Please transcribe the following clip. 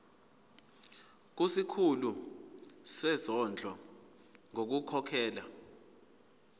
kusikhulu sezondlo ngokukhokhela